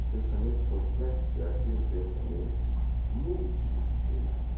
O pensamento complexo é aquele pensamento multidisciplinar.